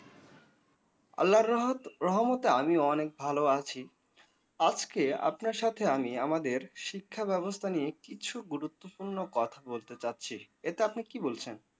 আল্লাহর রহমত রহমতে আমিও অনেক ভালো আছি। আজকে আপনার সাথে আমি আমাদের শিক্ষাব্যবস্থা নিয়ে কিছু গুরুত্বপূর্ণ কথা বলতে চাচ্ছি। এটা আপনি কি বলছেন?